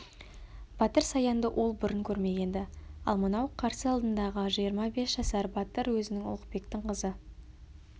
батыр саянды ол бұрын көрмеген-ді ал мынау қарсы алдындағы жиырма бес жасар батыр өзінің ұлықбектің қызы